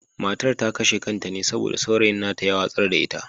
Matar ta kashe kanta ne saboda saurayin nata ya watsar da ita.